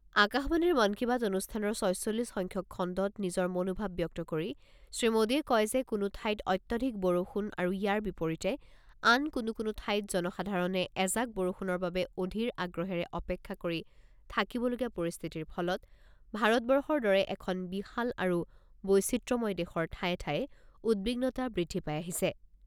আকাশবাণীৰ মন কী বাত অনুষ্ঠানৰ ছয়চল্লিছ সংখ্যক খণ্ডত নিজৰ মনোভাৱ ব্যক্ত কৰি শ্ৰী মোদীয়ে কয় যে কোনো ঠাইত অত্যধিক বৰষুণ আৰু ইয়াৰ বিপৰীতে আন কোনো কোনো ঠাইত জনসাধাৰণে এজাক বৰষুণৰ বাবে অধীৰ আগ্ৰহেৰে অপেক্ষা কৰি থাকিবলগীয়া পৰিস্থিতিৰ ফলত ভাৰতবৰ্ষৰ দৰে এখন বিশাল আৰু বৈচিত্ৰ্যময় দেশৰ ঠায়ে ঠায়ে উদ্বিগ্নতা বৃদ্ধি পাই আহিছে।